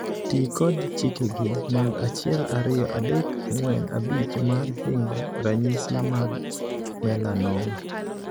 Tii kod chikegi mag achiel, ariyo, adek, angwen, abich mar hingo ranyisi mag 'melanoma'.